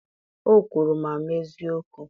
o kwuru ma mee eziokwu.